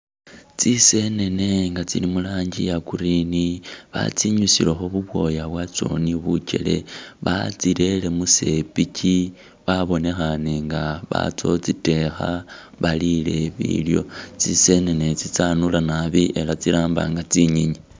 Tsisenene tsili mulangi iya green batsinyusilekho buboya bwatso ni bujele batsirele musepichi babonekhane nga batsa utsidekha balile bilyo tsisenenetsi tsanula naabi ela tsiramba nga tsinyinyi.